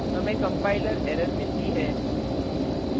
हमें compiler error मिलती है